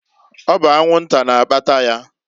Ọ bụ anwu-nta na-akpata ya.